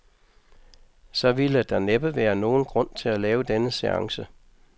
Så ville der næppe være nogen grund til at lave denne seance.